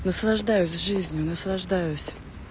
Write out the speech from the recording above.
наслаждаюсь жизнью наслаждаюсь